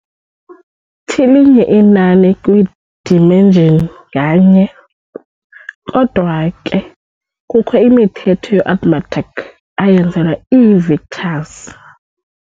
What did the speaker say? TLinye inani kwi-dimension nganye, Kodwa ke kukho imithetho ye-arithmetic eyenzelwe ii-vectors.